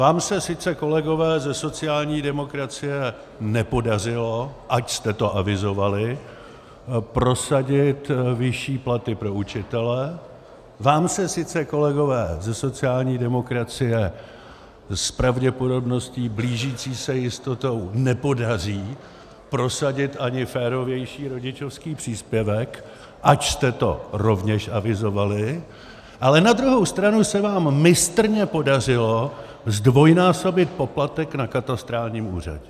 Vám se sice, kolegové ze sociální demokracie, nepodařilo, ač jste to avizovali, prosadit vyšší platy pro učitele, vám se sice, kolegové ze sociální demokracie, s pravděpodobností blížící se jistotě nepodaří prosadit ani férovější rodičovský příspěvek, ač jste to rovněž avizovali, ale na druhou stranu se vám mistrně podařilo zdvojnásobit poplatek na katastrálním úřadě.